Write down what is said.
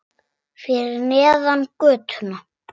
Fyrir neðan götuna.